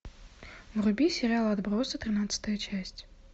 вруби сериал отбросы тринадцатая часть